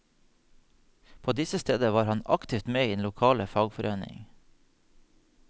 På disse steder var han aktivt med i den lokale fagforening.